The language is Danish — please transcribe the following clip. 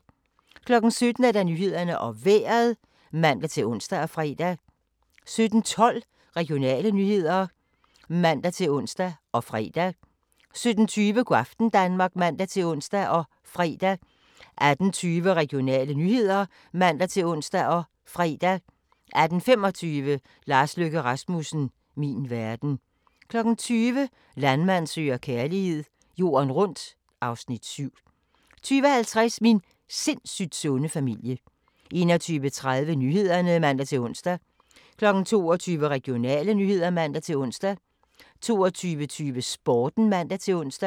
17:00: Nyhederne og Vejret (man-ons og fre) 17:12: Regionale nyheder (man-ons og fre) 17:20: Go' aften Danmark (man-ons og fre) 18:20: Regionale nyheder (man-ons og fre) 18:25: Lars Løkke Rasmussen - min verden 20:00: Landmand søger kærlighed - jorden rundt (Afs. 7) 20:50: Min sindssygt sunde familie 21:30: Nyhederne (man-ons) 22:00: Regionale nyheder (man-ons) 22:22: Sporten (man-ons)